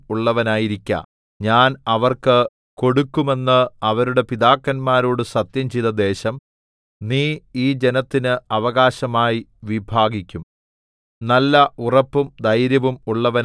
ഉറപ്പും ധൈര്യവും ഉള്ളവനായിരിക്ക ഞാൻ അവർക്ക് കൊടുക്കുമെന്ന് അവരുടെ പിതാക്കന്മാരോട് സത്യംചെയ്ത ദേശം നീ ഈ ജനത്തിന് അവകാശമായി വിഭാഗിക്കും